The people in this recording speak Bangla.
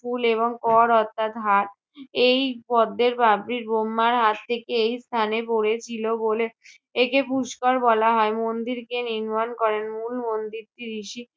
ফুল এবং কর অর্থাৎ হাত। এই পদ্মের পাপড়ি বহ্মার হাত থেকে এই স্থানে পড়েছিল বলে একে পুস্কর বলা হয়। মন্দির কে নির্মাণ করেন? মূল মন্দিরটি ঋষি